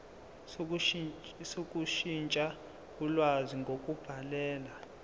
sokushintsha ulwazi ngokubhalela